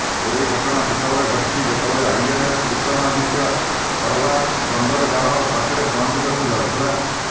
ଏହି ଘଟଣା ସେତେବେଳେ ଘଟିଛି ଯେତେବେଳେ ଆଇଏନଏସ୍ ବିକ୍ରମାଦିତ୍ୟ କରବାର ବନ୍ଦରଗାହ ପାଖରେ ପହଞ୍ଚିବାକୁ ଯାଉଥିଲା